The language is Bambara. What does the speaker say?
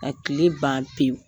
Ka tile ban pewu